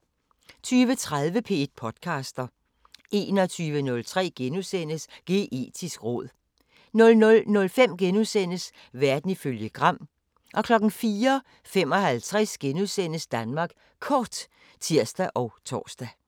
20:30: P1 podcaster 21:03: Geetisk råd * 00:05: Verden ifølge Gram * 04:55: Danmark Kort *(tir og tor)